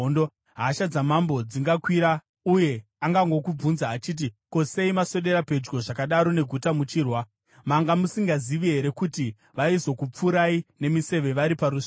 hasha dzamambo dzingakwira, uye angangokubvunza achiti, ‘Ko, sei maswedera pedyo zvakadaro neguta muchirwa? Manga musingazivi here kuti vaizokupfurai nemiseve vari parusvingo?